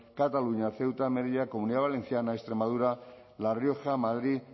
cataluña ceuta melilla comunidad valenciana extremadura la rioja madrid